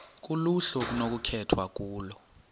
kuluhlu okunokukhethwa kulo